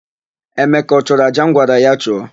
Emeka ọ chụrụ àjà m gwara ya chụọ?